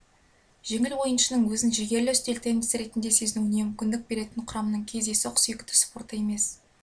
жеңіл ойыншының өзін жігерлі үстел теннисі ретінде сезінуіне мүмкіндік беретін құрамның кездейсоқ сүйікті спорты емес